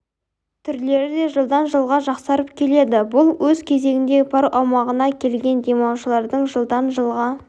түрлері де жылдан жылға жақсарып келеді бұл өз кезегінде парк аумағына келген демалушылардың жылдан жылға